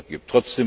gibt.